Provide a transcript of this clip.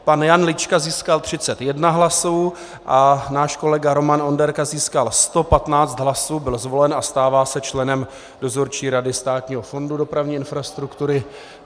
Pan Jan Lička získal 31 hlasů a náš kolega Roman Onderka získal 115 hlasů, byl zvolen a stává se členem Dozorčí rady Státního fondu dopravní infrastruktury.